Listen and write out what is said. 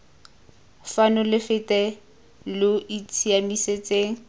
fano lo fete lo itshiamisetseng